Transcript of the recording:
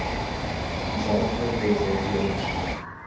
Í kvöld töpuðu þeir í Ólafsvík.